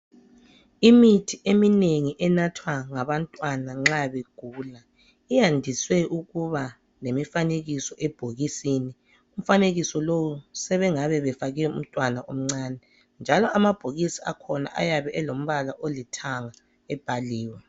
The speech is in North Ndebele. Imithi eminengi enathwa ngabantwana nxa begula iyandise ukuba lemfanekiso ebhokisini. Umfanekiso lowu sebengabe befake umntwana omncane njalo amabhokisi akhona ayabe elombala olithanga ebhaliwe.